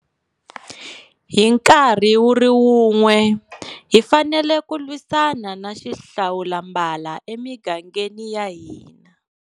Hi nkarhi wu ri wun'we, hi fanele ku lwisana na xihlawulambala emigangeni ya hina.